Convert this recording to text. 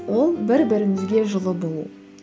ол бір бірімізге жылы болу